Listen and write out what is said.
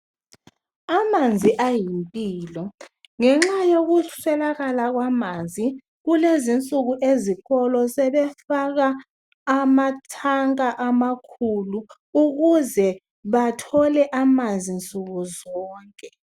Amanzi ayimpilo, ngenxa yokuswelakala kwamanzi kulezi insuku ezikolo sebefaka amatanka amakhulu ukuze bathole amanzi nsukuzonke